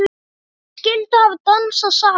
Hverjir skyldu hafa dansað saman?